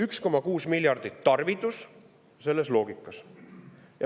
1,6 miljardit on see tarvidus selles loogikas.